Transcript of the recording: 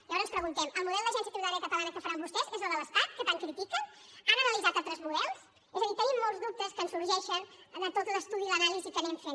llavors preguntem el model d’agència tributària catalana que faran vostès és la de l’estat que tant critiquen han analitzat altres models és a dir tenim molt dubtes que ens sorgeixen de tot l’estudi i l’anàlisi que anem fent